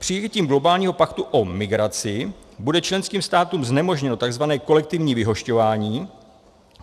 Přijetím globálního paktu o migraci bude členským státům znemožněno tzv. kolektivní vyhošťování.